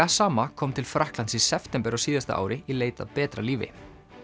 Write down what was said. gassama kom til Frakklands í september á síðasta ári í leit að betra lífi